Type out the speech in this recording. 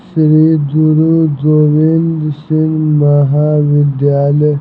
श्री गुरु गोविंद सिंह महाविद्यालय--